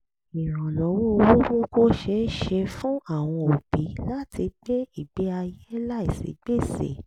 ìrànlọ́wọ́ owó mú kó ṣeé ṣe fún àwọn òbí láti gbé ìgbé ayé láìsí gbèsè